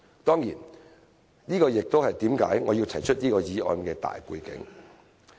當然，這也是我要提出這項議案的大背景。